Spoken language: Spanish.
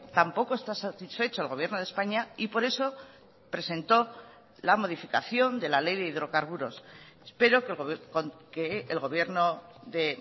tampoco está satisfecho el gobierno de españa y por eso presentó la modificación de la ley de hidrocarburos espero que el gobierno de